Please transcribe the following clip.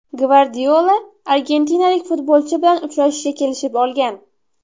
Gvardiola argentinalik futbolchi bilan uchrashishga kelishib olgan.